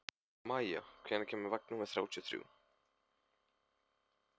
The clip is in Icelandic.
Maia, hvenær kemur vagn númer þrjátíu og þrjú?